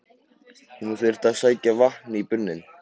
Hún þurfti að sækja vatn í brunninn.